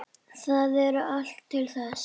Þar er allt til alls.